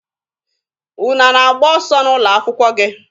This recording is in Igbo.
Unu a na-agba ọsọ n'ụlọ akwụkwọ gị?